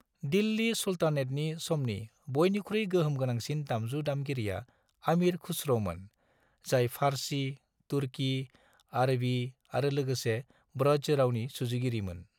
दिल्ली सुलतानेतनि समनि बयनिख्रुइ गोहोम गोनांसिन दामजु दामगिरिया आमीर खुसर'मोन, जाय फार्सी, तुर्की, आरबी आरो लोगोसे ब्रज रावनि सुजुगिरिमोन।